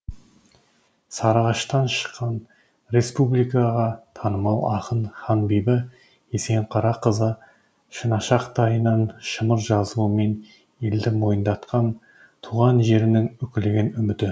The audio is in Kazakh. сарыағаштан шыққан республикаға танымал ақын ханбибі есенқарақызы шынашақтайынан шымыр жазуымен елді мойындатқан туған жерінің үкілеген үміті